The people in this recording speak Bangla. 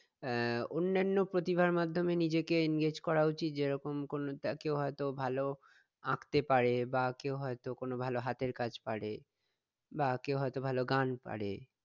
আহ অন্যান্য প্রথিভার মাধ্যমে নিজেকে engage করা উচিত? যেরকম কোনো কেও হয়ত ভালো আঁকতে পারে বা কেও কোনো ভালো হাতের কাজ পারে বা কেউ হয়তো ভালো গান পারে